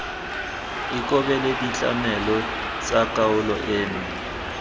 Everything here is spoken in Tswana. ikobele ditlamelo tsa kgaolo eno